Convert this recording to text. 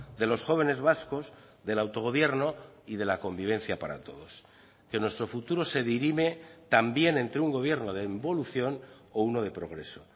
de los jóvenes vascos del autogobierno y de la convivencia para todos que nuestro futuro se dirime también entre un gobierno de involución o uno de progreso